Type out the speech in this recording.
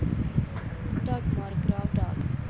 Dagmar Gravdal